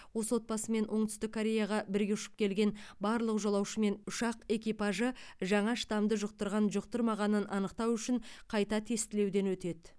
осы отбасымен оңтүстік кореяға бірге ұшып келген барлық жолаушы мен ұшақ экипажы жаңа штамды жұқтырған жұқтырмағанын анықтау үшін қайта тестілеуден өтеді